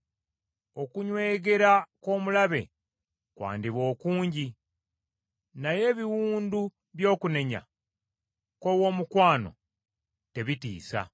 Okunywegera kw’omulabe kwandiba okungi, naye ebiwundu by’okunenya kw’owoomukwano tebitiisa.